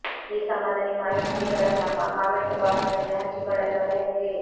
ಈ ಸಂಬಂಧ ನಿಮ್ಮ ಅನಿಸಿಕೆಗಳನ್ನು ನಮ್ಮ ಕಾಮೆಂಟ್ ಬಾಕ್ಸ್ ನಲ್ಲಿ ಹಂಚಿಕೊಳ್ಳಲು ಮರೆಯದಿರಿ